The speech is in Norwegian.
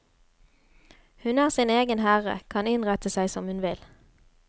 Hun er sin egen herre, kan innrette seg som hun vil.